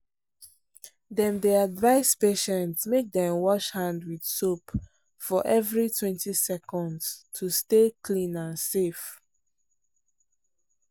dem dey advise patients make dem wash hand with soap for everitwentyseconds to stay clean and safe.